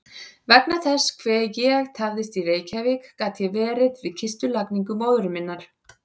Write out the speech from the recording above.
Vegna þess hve ég tafðist í Reykjavík gat ég verið við kistulagningu móður minnar.